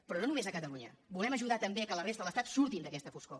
però no només a catalunya volem ajudar també a que la resta de l’estat surti d’aquesta foscor